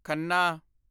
Khanna